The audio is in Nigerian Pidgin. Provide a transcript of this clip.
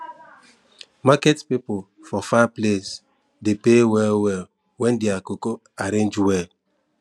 market people for far place de pay well well when their cocoa arrange well